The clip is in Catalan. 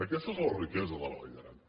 aquesta és la riquesa de la vall d’aran